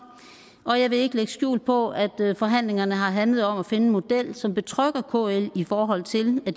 og jeg vil ikke lægge skjul på at forhandlingerne har handlet om at finde en model som betrygger kl i forhold til at